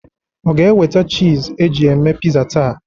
Ọ ga-eweta chiz e ji eme piza taa?